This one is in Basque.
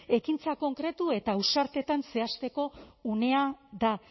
ekintza konkretu eta ausartetan zehazteko unea da